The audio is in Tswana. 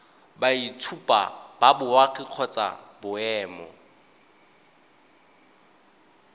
boitshupo ba boagi kgotsa boemo